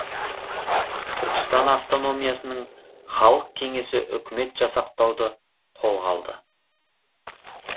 түркістан автономиясының халық кеңесі үкімет жасақтауды қолға алды